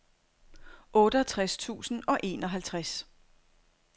otteogtres tusind og enoghalvtreds